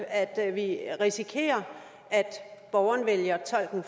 at vi risikerer at borgerne vælger tolken